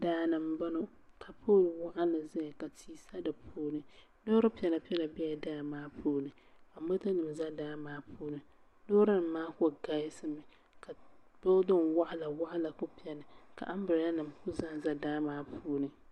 Daa ni m-bɔɔ ka pooli waɣinli zaya ka tia sa di puuni loori piɛlapiɛla bela daa maa puuni ka motonima za daa maa puuni loorinima maa kuli galisimi ka loori waɣilawaɣila kuli beni ka ambiraalanima kuli zanza daa maa puuni